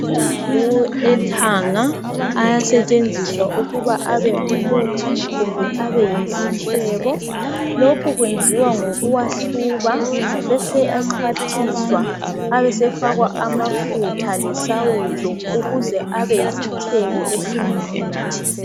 Amahlamvu ethanga ayasentshenziswa ukuba abengumuthi kumbe Abe yisitshebo lokhu kwenziwa ngokuwahluba abesexhwathiswa sefakwa amafutha lesawudo ukuze Abe yisintshebo esingumuthi